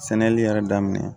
Sɛnɛli yɛrɛ daminɛ